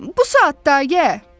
Bu saat da gəl.